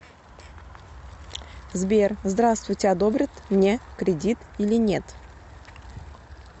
сбер здравствуйте одобрят мне кредит или нет